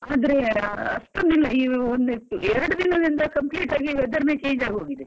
ಆದ್ರೆ ಅಷ್ಟೊಂದಿಲ್ಲ ಈಗ ಎರಡು ದಿನದಿಂದ complete ಆಗಿ weather ನೆ change ಆಗಿ ಹೋಗಿದೆ.